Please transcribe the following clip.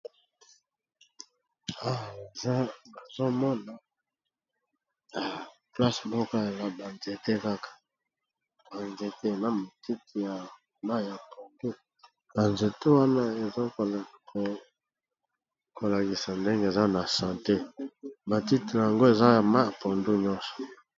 Awa nazomona place ya ba nzete kaka eza na santé ba nzete nyonso eza na langi ya mayi ya pondu.